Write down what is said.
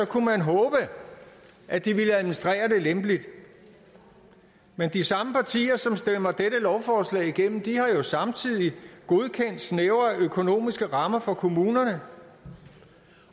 kunne man håbe at de ville administrere det lempeligt men de samme partier som stemmer dette lovforslag igennem har jo samtidig godkendt snævre økonomiske rammer for kommunerne